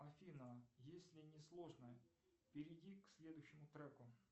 афина если не сложно перейди к следующему треку